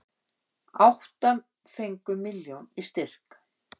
Átta fengu milljón í styrk